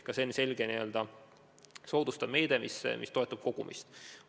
Ka see on selge meede, mis toetab kogumist.